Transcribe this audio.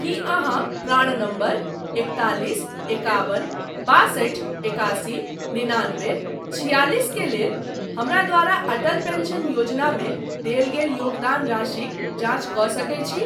की अहाँ PRAN number एकतालिस एकाबन बासठि एकासी निनानबे छिआलिस के लेल हमरा द्वारा अटल पेंशन योजनामे देल गेल योगदान राशिक जाँच कऽ सकैत छी ?